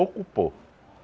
Ocupou.